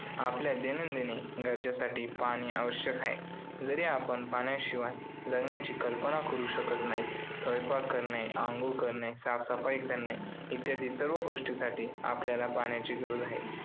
आपल्या दैनंदिन गरजांसाठी पाणी आवश्यक आहे. जरी आपण पाण्याशिवाय जगण्याची कल्पना करू शकत नाही. स्वयंपाक करणे, आंघोळ करणे, साफसफाई करणे इत्यादी सर्व गोष्टींसाठी आपल्याला पाण्याची गरज आहे.